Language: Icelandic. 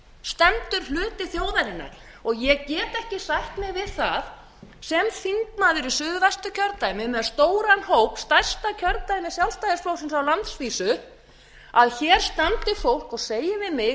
stendur hluti þjóðarinnar ég get ekki sætt mig við það sem þingmaður í suðvesturkjördæmi með stóran hóp stærsta kjördæmi sjálfstæðisflokksins á landsvísu að hér standi fólk og segi við mig að